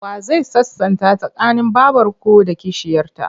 Wa zai sasanta tsakanin babarku da kishiyarta?